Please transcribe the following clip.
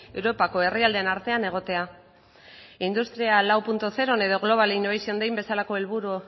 europako herrialdeen artean egotea industria lauzeron edo global innovation den bezalako helburu